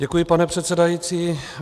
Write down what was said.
Děkuji, pane předsedající.